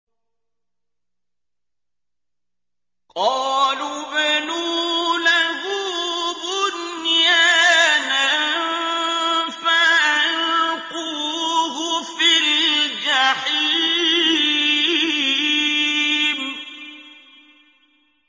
قَالُوا ابْنُوا لَهُ بُنْيَانًا فَأَلْقُوهُ فِي الْجَحِيمِ